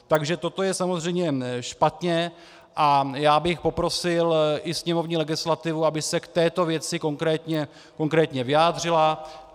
Takže toto je samozřejmě špatně a já bych poprosil i sněmovní legislativu, aby se k této věci konkrétně vyjádřila.